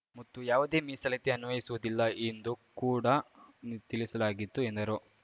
ಮತ್ತು ಯಾವುದೇ ಮೀಸಲಾತಿ ಅನ್ವಯಿಸುವುದಿಲ್ಲ ಎಂದು ಕೂಡ ತಿಳಿಸಲಾಗಿತ್ತು ಎಂದರು